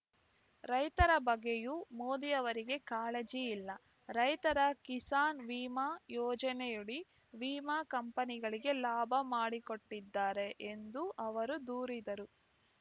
ರೈತರ ಬಗ್ಗೆಯೂ ಮೋದಿಯವರಿಗೆ ಕಾಳಜಿ ಇಲ್ಲ ರೈತರ ಕಿಸಾನ್ ವಿಮಾ ಯೋಜನೆಯಡಿ ವಿಮಾ ಕಂಪನಿಗಳಿಗೆ ಲಾಭ ಮಾಡಿಕೊಟ್ಟಿದ್ದಾರೆ ಎಂದೂ ಅವರು ದೂರಿದರು